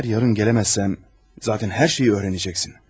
Əgər sabah gələ bilməsəm, onsuz da hər şeyi öyrənəcəksən.